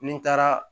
Ni n taara